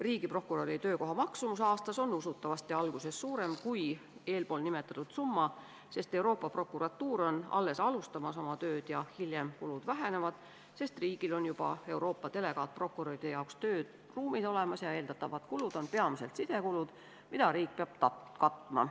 Riigiprokuröri töökoha maksumus aastas on usutavasti alguses suurem kui eespool nimetatud summa, sest Euroopa Prokuratuur on alles oma tööd alustamas ja hiljem kulud vähenevad, kuna riigil on juba Euroopa delegaatprokuröride jaoks tööruumid olemas ja eeldatavad kulud on peamiselt sidekulud, mida riik peab katma.